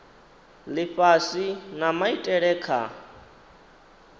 lifhasi na maitele a kha